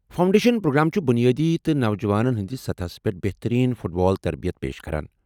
Foundation programme چھ بٗنیٲدی تہٕ نوجوانن ہندِس سطحس پٮ۪ٹھ بہترین فٹ بال تربیت پیش کران۔